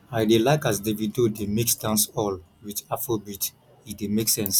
i dey like as davido dey mix dancehall wit afrobeat e dey make sense